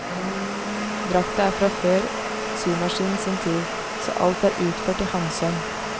Drakta er fra før symaskinen sin tid, så alt er utført i handsøm.